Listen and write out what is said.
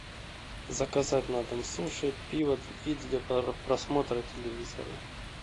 заказать на дом суши пиво и для просмотра телевизора